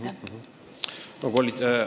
Aitäh teile selle seisukoha eest!